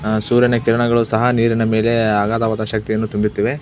ಅಹ್ ಸೂರ್ಯನ ಕಿರಣಗಳು ಸಹ ನೀರಿನ ಮೇಲೆ ಅಗಾದವಾದ ಶಕ್ತಿಯನ್ನು ತುಂಬುತ್ತಿದೆ.